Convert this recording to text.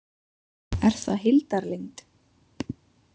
Er það heildarlengd.